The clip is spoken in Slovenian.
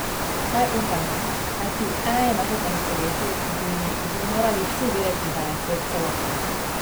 Vsaj upajmo, kajti v enaindvajsetem stoletju bi že morali vsi vedeti, da je svet celota.